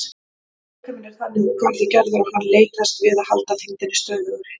Líkaminn er þannig úr garði gerður að hann leitast við að halda þyngdinni stöðugri.